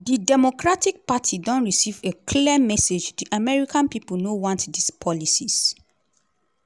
"di democratic party don receive a clear message: di american pipo no want dis policies.